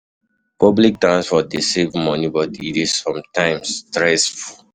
Public transport dey save money, but e dey sometimes stressful.